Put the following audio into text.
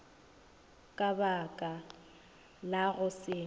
ka baka la go se